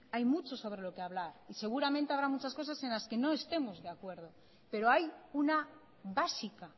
hay mucho sobre lo que hablar y seguramente habrá muchas cosas en las que no estemos de acuerdo pero hay una básica